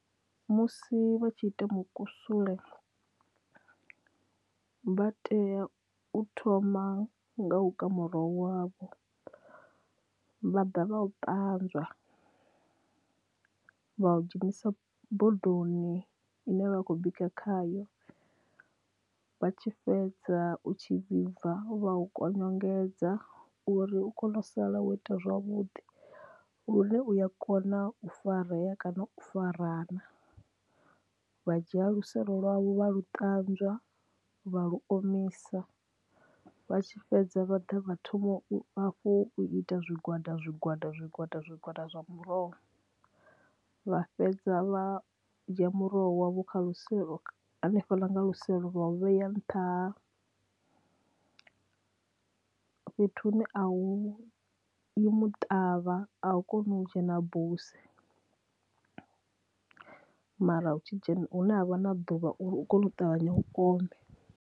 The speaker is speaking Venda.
Musi vha tshi ita mukusule vha tea u thoma nga uka muroho wavho vha ḓa vha u ṱanzwa vha u dzhenisa bodoni ine vha vha khou bika khayo vha tshi fhedza u tshi vhibva vha kongonyedza uri u kone u sala wo ita zwavhuḓi lune uya kona u farea kana u farana, vha dzhia luselo lwavho vha lu ṱanzwa vha lu omisa vha tshi fhedza vha ḓa vha thome vha hafhu u ita zwigwada zwigwada zwigwada zwigwada zwa muroho vha fhedza vha dzhia muroho wa vho kha luselo hanefha ḽa kha luselo vhaya nṱhaha fhethu hune a u i muṱavha a u koni u dzhena buse mara hu tshi dzhena hune ha vha na ḓuvha uri u kone u ṱavhanya u ome.